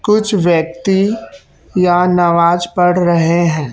कुछ व्यक्ति यहां नमाज पढ़ रहे हैं।